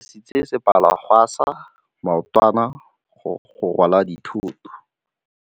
Ba dirisitse sepalangwasa maotwana go rwala dithôtô.